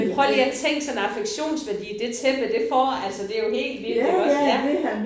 Men prøv lige at tænk sådan en affektionsværdi det tæppe det får. Altså det jo helt vildt iggås ja